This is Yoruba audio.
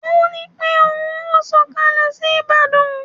Ó ní pé ohun ó sọkalẹ sí Ìbàdàn